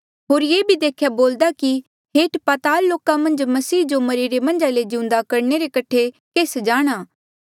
होर ये भी देख्या बोलदा कि हेठ पताल लोका मन्झ मसीह जो मरिरे मन्झा ले जिउंदा करणे रे कठे केस जाणा